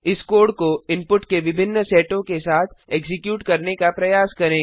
इस कोड को इनपुट के विभिन्न सेटों के साथ एक्जीक्यूट करने का प्रयास करें